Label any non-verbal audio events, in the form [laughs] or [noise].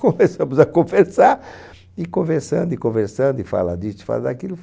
Começamos [laughs] a conversar, e conversando, e conversando, e fala disso, e fala daquilo,